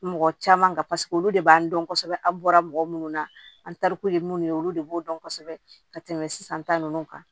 Mɔgɔ caman kan paseke olu de b'an dɔn kosɛbɛ an bɔra mɔgɔ minnu na an tariku ye minnu ye olu de b'o dɔn kosɛbɛ ka tɛmɛ sisan ta ninnu kan